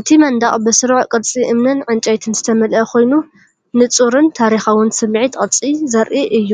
እቲ መንደቕ ብስሩዕ ቅርጺ እምንን ዕንጨይትን ዝተመልአ ኮይኑ፡ ንጹርን ታሪኻውን ስምዒት ቅርጺ ዘርኢ እዩ።